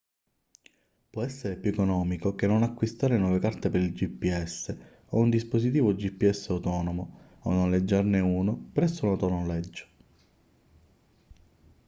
può essere più economico che non acquistare nuove carte per il gps o un dispositivo gps autonomo o noleggiarne uno presso un autonoleggio